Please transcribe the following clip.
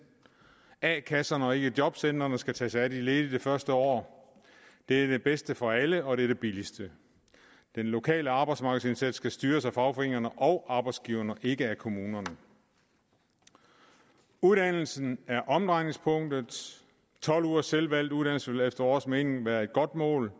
a kasserne og ikke jobcentrene skal tage sig af de ledige det første år det er det bedste for alle og det er det billigste den lokale arbejdsmarkedsindsats skal styres af fagforeningerne og arbejdsgiverne og ikke af kommunerne uddannelsen er omdrejningspunktet tolv ugers selvvalgt uddannelse vil efter vores mening være et godt mål